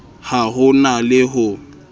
ha ho na le ho